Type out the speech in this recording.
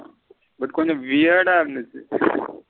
அது கொஞ்சம் இருந்துச்சு.